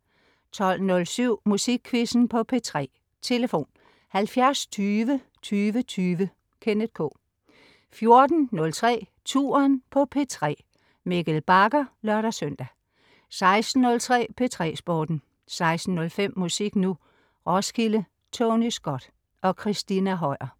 12.07 Musikquizzen på P3. Tlf.: 70 20 20 20. Kenneth K 14.03 Touren på P3. Mikkel Bagger (lør-søn) 16.03 P3 Sporten 16.05 Musik Nu! Roskilde. Tony Scott og